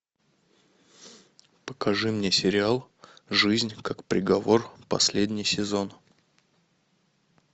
покажи мне сериал жизнь как приговор последний сезон